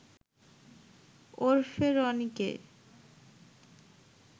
ওরফে রনিকে